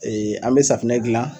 an bɛ safinɛ gilan.